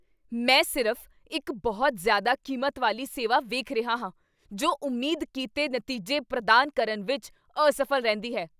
ਮੈਂ ਸਿਰਫ਼ ਇੱਕ ਬਹੁਤ ਜ਼ਿਆਦਾ ਕੀਮਤ ਵਾਲੀ ਸੇਵਾ ਵੇਖ ਰਿਹਾ ਹਾਂ ਜੋ ਉਮੀਦ ਕੀਤੇ ਨਤੀਜੇ ਪ੍ਰਦਾਨ ਕਰਨ ਵਿੱਚ ਅਸਫ਼ਲ ਰਹਿੰਦੀ ਹੈ।